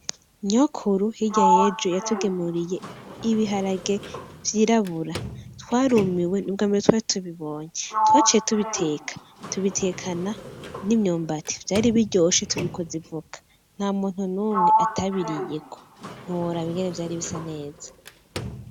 Nyokuru hirya yejo yatugemuriye ibiharage vyirabura. Twarumiwe nubwa ambere twari tubibonye. Twaciye tubiteka tubiteka n'imyumbati, vyari biryoshe tubikoza ivoka. Ntamuntu numwe atabiriyeko ntiworaba vyari bisa neza.